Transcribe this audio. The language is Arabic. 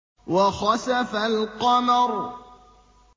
وَخَسَفَ الْقَمَرُ